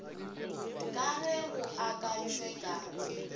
ka ge go akantšwe ka